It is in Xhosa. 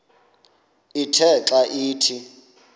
ithe xa ithi